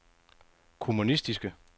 kommunistiske